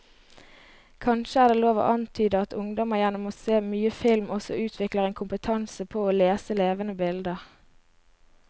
Kanskje er det lov å antyde at ungdom gjennom å se mye film også utvikler en kompetanse på å lese levende bilder.